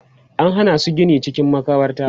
an Hana su Gini cikin makabarta